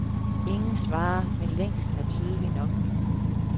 Ingen svarer, men længslen er tydelig nok.